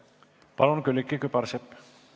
Palun, Külliki Kübarsepp!